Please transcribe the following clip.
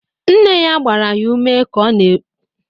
Nne ya gbara ya ume ka ọ na-erubere di ya isi.